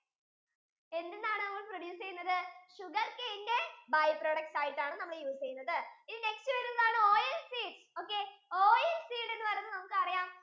എന്തിൽ നിന്നാണ് നമ്മൾ produce ചെയ്യുന്നത്? sugarcane ഇന്റെ bi-products ആയിട്ടാണ് നമ്മൾ use ചെയ്യുന്നത് ഇനി bi-products next വരുന്നതാണ് oil seeds okay oil seeds എന്ന് പറഞ്ഞാൽ നമുക്ക് അറിയാം